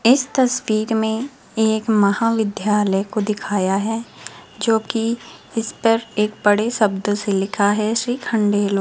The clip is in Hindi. इस तस्वीर में एक महाविद्यालय को दिखाया है जो कि इस पर एक बड़े शब्द से लिखा है श्रीखंडेलो --